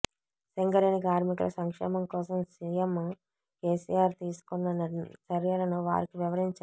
సింగరేణి కార్మికుల సంక్షేమం కోసం సీఎం కేసీఆర్ తీసుకున్న చర్యలను వారికి వివరించారు